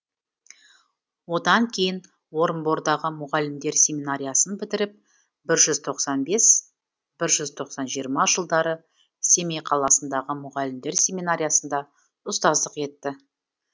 одан кейін орынбордағы мұғалімдер семинариясын бітіріп бір жүз тоқсан бес бір жүз жиырма жылдары семей қаласындағы мұғалімдер семинариясында ұстаздық етті